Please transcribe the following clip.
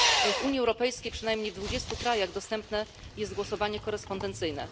W Unii Europejskiej przynajmniej w 20 krajach dostępne jest głosowanie korespondencyjne.